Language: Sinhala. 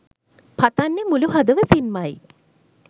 පතන්නේ මුලු හදවතින්මයි